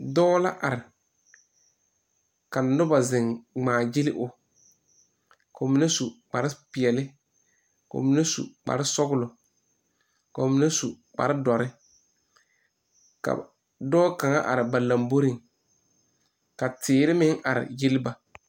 Dɔɔ la are ka noba zeŋ ŋmaagyili o ka ba mine su kparepeɛle ka ba mine su kparesɔglɔ ka ba mine su kparedɔre ka dɔɔ kaŋa are ba lamboriŋ ka teere meŋ are gyilli ba.